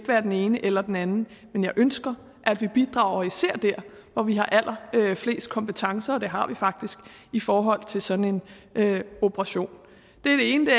være den ene eller den anden men jeg ønsker at vi bidrager især der hvor vi har allerflest kompetencer og det har vi faktisk i forhold til sådan en operation det er det ene